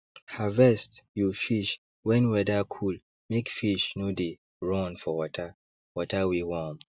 harvest you fish when weather coolmake fish no dey run for water water wey warm